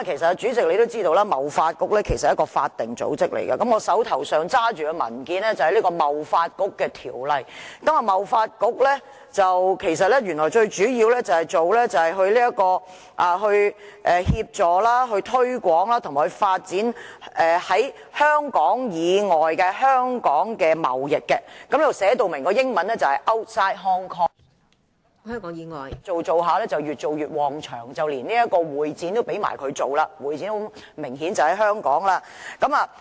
主席，我們都知道貿發局是一個法定組織，我手上的文件就是有關貿發局的條例，原來其最主要的工作是促進、協助和發展香港與香港以外地方的貿易，這裏英文版本寫明是 "outside Hong Kong"， 但不知為何貿發局卻越做越順利，現在政府連會展的工作也交由貿發局負責，會展很明顯是位於港島區的。